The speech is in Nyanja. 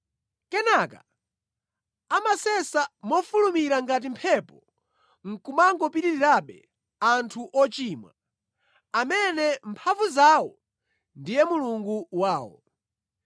Kenaka amasesa mofulumira ngati mphepo nʼkumangopitirirabe, anthu ochimwa, amene mphamvu zawo ndiye mulungu wawo.”